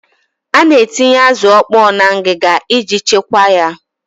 A na-etinye azụ ọkpọọ na ngịga iji chekwaa ya.